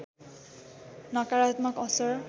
नकारात्मक असर